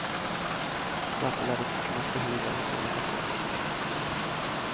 Därför lär det finnas behov av en sådan rapport.